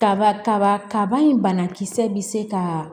Kaba kaba kaba in banakisɛ bɛ se ka